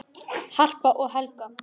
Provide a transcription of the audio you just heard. Harpa og Helga.